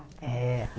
É,